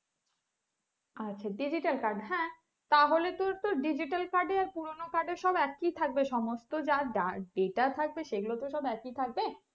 আচ্ছা digital card হ্যাঁ তাহলে তোর তো digital card এ পুরনো card সব একই থাকবে সমস্ত যার যার যেটা থাকবে সেগুলো সব একই থাকবে?